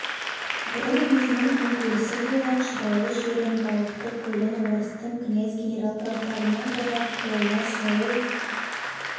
бұрын өзінің күн көрісі болған шұрайлы жерін балықты көлін орыстың князь генерал графтарынан қорғап қолына сойыл